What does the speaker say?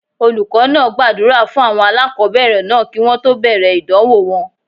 Olùkọ́ náà gbàdúrà fún àwọn aláàkọ́bẹ̀rẹ̀ náà kí wọ́n tó bẹ̀rẹ̀ ìdánwò wọn.